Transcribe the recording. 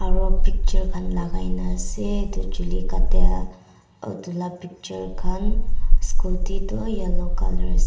aro picture khan lagaikina asae etu chuli katia otu la picture khan scooty toh yellow colour asae.